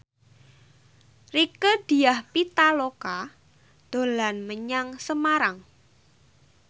Rieke Diah Pitaloka dolan menyang Semarang